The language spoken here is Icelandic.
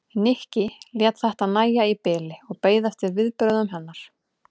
Nikki lét þetta nægja í bili og beið eftir viðbrögðum hennar.